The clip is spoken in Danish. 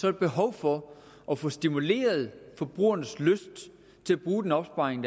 er behov for at få stimuleret forbrugernes lyst til at bruge den opsparing